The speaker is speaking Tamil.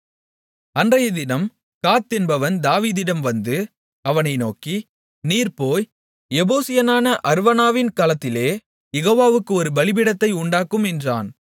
அன்றையதினம் காத் என்பவன் தாவீதிடம் வந்து அவனை நோக்கி நீர் போய் எபூசியனான அர்வனாவின் களத்திலே யெகோவாவுக்கு ஒரு பலிபீடத்தை உண்டாக்கும் என்றான்